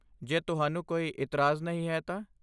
ਜੇ ਤੁਹਾਨੂੰ ਕੋਈ ਇਤਰਾਜ਼ ਨਹੀਂ ਹੈ ਤਾਂ।